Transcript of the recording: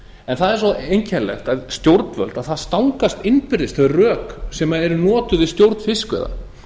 en það er svo einkennilegt að stjórnvöld það stangast innbyrðis þau rök sem eru notuð við stjórn fiskveiða